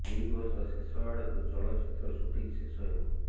ଏହି ବର୍ଷ ଶେଷ ଆଡ଼କୁ ଚଳଚ୍ଚିତ୍ର ସୁଟିଂ ଶେଷ ହେବ